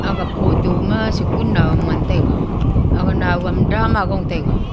aga photo ma sikun nauam ngantaiga aga nauam dam ma gong taiga.